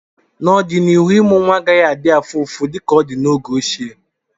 n'ọdịnihu, ịmụ nwa agaghị adị afụfụ dịka ọ dị na oge ochie